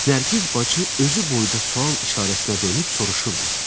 Nərgiz bacı özü boyda sual işarəsinə dönüb soruşurdu.